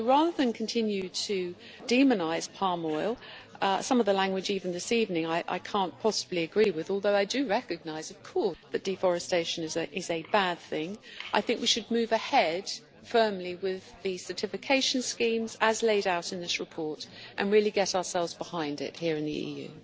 Rather than continue to demonise palm oil some of the language even this evening I cannot possibly agree with, although I do recognise that deforestation is a bad thing we should move ahead firmly with the certification schemes as laid out in this report and really get ourselves behind it here in the EU.